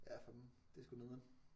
Ja fanden det er sgu nederen